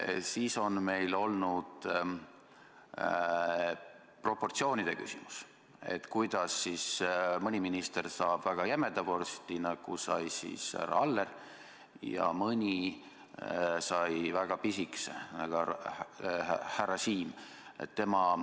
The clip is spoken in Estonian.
Siis on meil olnud proportsioonide küsimus, kuidas mõni minister saab väga jämeda vorsti, nagu sai härra Aller, ja mõni väga pisikese, nagu härra Siem.